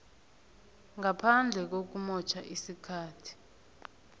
ngaphandle kokumotjha isikhathi